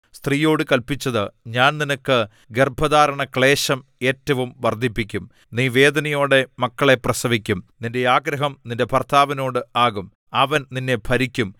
സ്ത്രീയോട് കല്പിച്ചത് ഞാൻ നിനക്ക് ഗർഭധാരണ ക്ളേശം ഏറ്റവും വർദ്ധിപ്പിക്കും നീ വേദനയോടെ മക്കളെ പ്രസവിക്കും നിന്റെ ആഗ്രഹം നിന്റെ ഭർത്താവിനോട് ആകും അവൻ നിന്നെ ഭരിക്കും